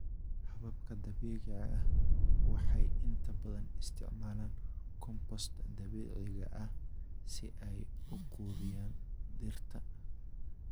Hababka dabiiciga ah waxay inta badan isticmaalaan compost dabiiciga ah si ay u quudiyaan dhirta.